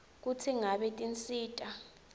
kutsi ngabe tinsita